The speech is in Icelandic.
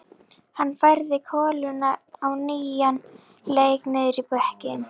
Hann færði koluna á nýjan leik niður í bekkinn.